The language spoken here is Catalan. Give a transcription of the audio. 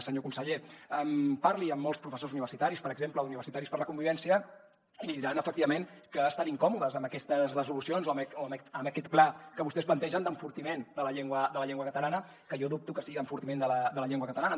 senyor conseller parli amb molts professors universitaris per exemple d’universitaris per la convivència i li diran efectivament que estan incòmodes amb aquestes resolucions o amb aquest pla que vostès plantegen d’enfortiment de la llengua catalana que jo dubto que sigui d’enfortiment de la llengua catalana